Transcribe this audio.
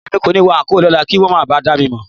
Mi ò ní wọ àńkò lọ́la kí wọn máa ba à dá mi mọ̀